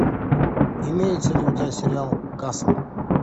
имеется ли у тебя сериал касл